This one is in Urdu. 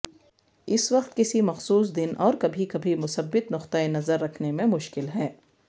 اس وقت کسی مخصوص دن اور کبھی کبھی مثبت نقطہ نظر رکھنے میں مشکل ہے